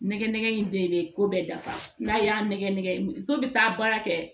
Nɛgɛ nɛgɛ in de bɛ ko bɛɛ dafa n'a y'a nɛgɛ nɛgɛ so bɛ taa baara kɛ